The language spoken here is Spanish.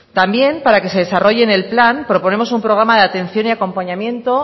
también para que se desarrolle en el plan proponemos un programa de atención y acompañamiento